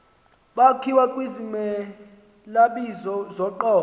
zakhiwa kwizimelabizo zoqobo